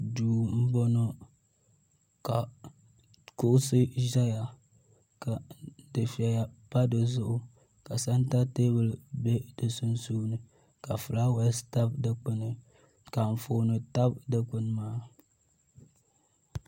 Duu m boŋɔ ka kuɣusi zaya ka dufeya pa dizuɣu ka santa teebuli be di sunsuuni ka filaawaasi tabi dikpini ka anfooni tabi dikpini maa.